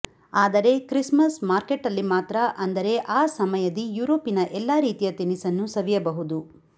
ಆದರೆ ಕ್ರಿಸ್ಮಸ್ ಮಾರ್ಕೆಟ್ಟಲ್ಲಿ ಮಾತ್ರ ಅಂದರೆ ಆಸಮಯದಿ ಯೂರೋಪಿನ ಎಲ್ಲ ರೀತಿಯ ತಿನಿಸನ್ನು ಸವಿಯಬಹುದು